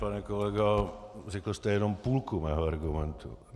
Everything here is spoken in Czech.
Pane kolego, řekl jste jenom půlku mého argumentu.